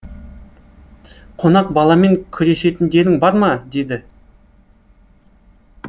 қонақ баламен күресетіндерің бар ма деді